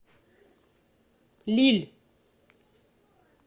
лилль